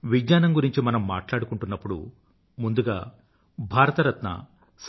విజ్ఞానం గురించి మనం మాట్లాడుకుంటున్నప్పుడు ముందుగా భారతరత్న సర్ సి